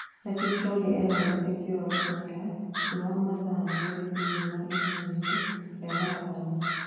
Na Kipchoge ena wĩtĩkio wa gũteng'era thĩ wa mathaa merĩ thĩinĩ wa ihenya-inĩ rĩa marathoni